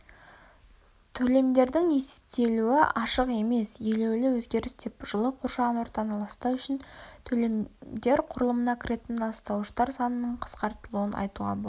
төлемдердің есептелуі ашық емес елеулі өзгеріс деп жылы қоршаған ортаны ластау үшін төлемдер құрылымына кіретін ластауыштар санының қысқартылуын айтуға болады